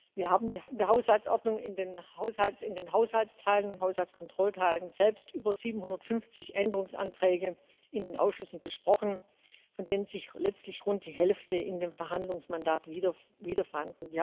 Wir haben in der Haushaltsordnung, in den Haushaltsteilen und Haushaltskontrollteilen selbst über 750 Änderungsanträge in den Ausschüssen besprochen, von denen sich letztlich rund die Hälfte in dem Verhandlungsmandat wieder fand.